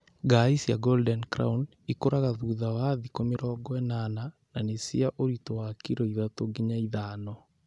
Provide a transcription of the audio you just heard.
Ngarĩ cia Golden crown ikũraga thutha wa thikũ mĩrongo ĩnana na nĩ cia ũritũ wa kiro ithatũ nginya ithano.